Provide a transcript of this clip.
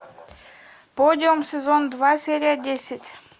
подиум сезон два серия десять